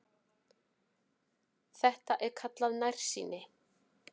Þetta er kallað nærsýni.